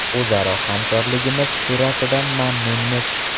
O‘zaro hamkorligimiz sur’atidan mamnunmiz.